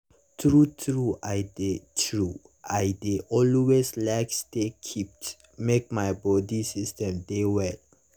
true true i dey true i dey always like stay kept make my bodi system dey well.